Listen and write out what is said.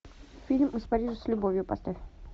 фильм из парижа с любовью поставь